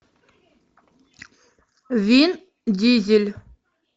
вин дизель